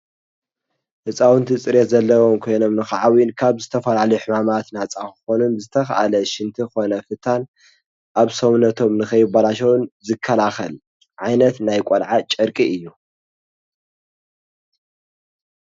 ህንፃውንቲ ፅሬት ዘለዎም ኮይኖም ክዓብዩን ካብ ዝተፈላለዩ ሕማማት ነፃ ክኮኑ ዝተካእለ ሽንቲ ኮነ ፍታን ኣብ ሰውነቶም ንከይበላሾን ዝከላከል ዓይነት ናይ ቆልዓ ጨርቂ እዩ።